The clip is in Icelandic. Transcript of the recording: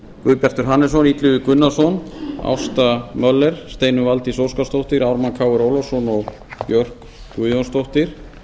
guðbjartur hannesson illugi gunnarsson ásta möller steinunn valdís óskarsdóttir ármann krónu ólafsson og björk guðjónsdóttir